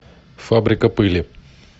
фабрика пыли